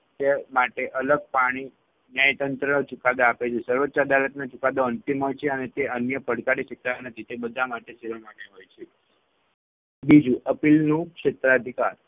તે માટે અલગ પાણી ન્યાયતંત્ર ચુકાદા આપે છે. સર્વોચ્ય અદાલતનો ચુકાદો અંતિમ હોય છે અને તે અન્ય પડકારી શકતા નથી તે બધા માટે માટે હોય છે. બીજું appeal નું ક્ષેત્ર અધિકાર